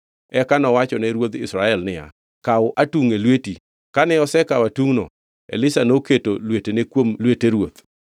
Eka nowachone ruodh Israel niya, “Kaw atungʼ e lweti.” Kane osekawo atungʼno, Elisha noketo lwetene kuom lwete ruoth.